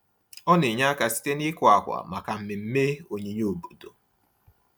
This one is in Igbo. Ọ na-enye aka site n’ịkụ akwa maka mmemme onyinye obodo.